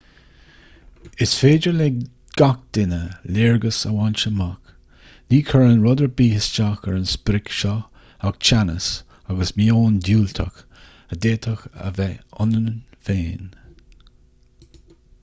is féidir le gach duine léargas a bhaint amach ní chuireann rud ar bith isteach ar an sprioc seo ach teannas agus meon diúltach a d'fhéadfadh a bheith ionainn féin